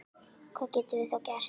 Hvað getum við þá gert?